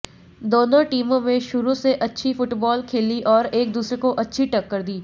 दोनों टीमों में शुरू से अच्छी फुटबाल खेली और एक दूसरे को अच्छी टक्कर दी